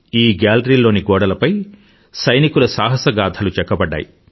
ఈ గాలరీలోని గోడలపై సైనికుల సాహసగాధలు చెక్కబడ్డాయి